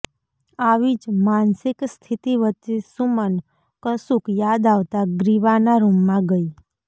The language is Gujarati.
આવી જ માનસિક સ્થિતિ વચ્ચે સુમન કશુંક યાદ આવતા ગ્રીવાના રૂમમાં ગઈ